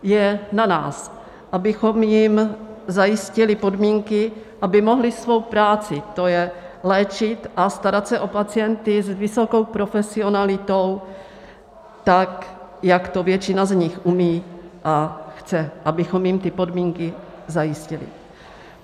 Je na nás, abychom jim zajistili podmínky, aby mohli svou práci, to je léčit a starat se o pacienty s vysokou profesionalitou, tak jak to většina z nich umí a chce, abychom jim ty podmínky zajistili.